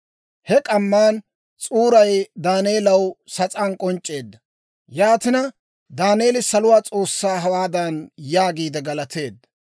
He k'amman s'uuray Daaneelaw sas'aan k'onc'c'eedda. Yaatina, Daaneeli saluwaa S'oossaa hawaadan yaagiide galateedda;